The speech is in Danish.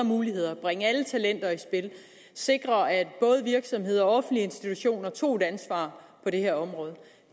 muligheder bringe alle talenter i spil sikre at både virksomheder og offentlige institutioner tog et ansvar på det her område